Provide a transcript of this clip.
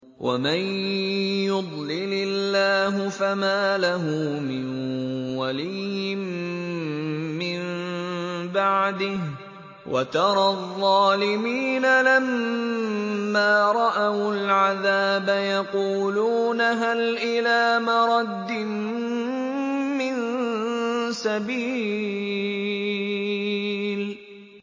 وَمَن يُضْلِلِ اللَّهُ فَمَا لَهُ مِن وَلِيٍّ مِّن بَعْدِهِ ۗ وَتَرَى الظَّالِمِينَ لَمَّا رَأَوُا الْعَذَابَ يَقُولُونَ هَلْ إِلَىٰ مَرَدٍّ مِّن سَبِيلٍ